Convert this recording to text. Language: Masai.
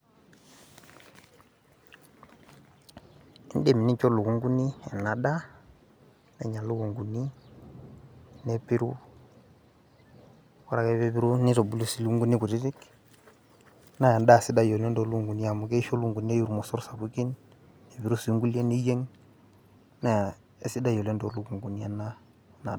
Idim nincho lukunkuni ena daa, nenya lukunkuni, nepiru. Ore ake pepiru, nitubulu si lukunkuni kutitik. Na endaa sidai oleng to lukunkuni amu keisho lukunkuni eiu irmosor sapukin. Nepiru si nkulie niyieng', naa esidai oleng to lukunkuni ena.